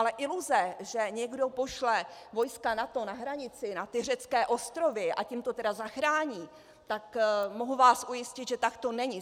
Ale iluze, že někdo pošle vojska NATO na hranici, na ty řecké ostrovy, a tím to tedy zachrání, tak mohu vás ujistit, že tak to není.